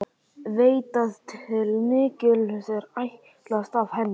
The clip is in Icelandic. Veit að til mikils er ætlast af henni.